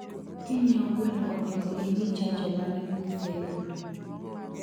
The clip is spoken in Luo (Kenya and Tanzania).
Kinyieo gweno onego ingii chanjo mane mgiseyudo